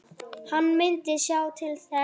Hann myndi sjá til þess.